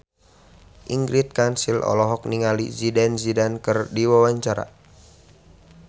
Ingrid Kansil olohok ningali Zidane Zidane keur diwawancara